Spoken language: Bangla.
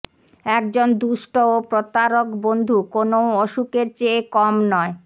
একজন দুষ্ট ও প্রতারক বন্ধু কোনও অসুখের চেয়ে কম নয়